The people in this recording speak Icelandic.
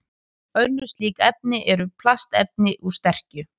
Önnur slík efni eru plastefni úr sterkju.